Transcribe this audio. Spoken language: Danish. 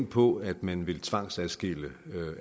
på at man vil tvangsadskille